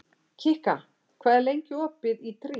Kikka, hvað er lengi opið í Tríó?